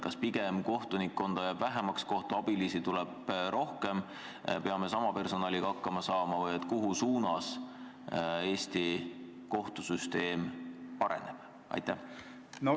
Kas pigem jääb kohtunikkonda vähemaks ja kohtuabilisi tuleb rohkem või peame sama personaliga hakkama saama või mis suunas Eesti kohtusüsteem areneb?